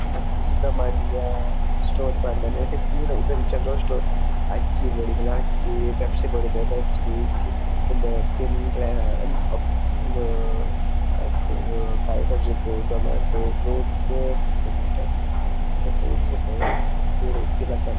Subramanya store ಪಂದ್ ನೆಟೆ ಪೂರ ಇಂದು ಒಂಜಿ ಜನರಲ್ ಸ್ಟೋರ್ ಅಕ್ಕಿ ಬೋಡಿತ್ತ್ಂಡ ಅಕ್ಕಿ ಪೆಪ್ಸಿ ಬೋಡಿತ್ತಂಡ ಪೆಪ್ಸಿ ಇಂದು ತಿಂಡ್ರೆ ಬೊ ಇಂದು ಕಾಯಿಕಜಿಪು ಟೊಮಾಟೊ ಫ್ರೂಟ್ಸ್ ಪೂರ ತಿಕ್ಕುಂಡು ನೆಟೆ ಉಂಡು ಪೂರ ಇತ್ತಿಲೆಕನೆ.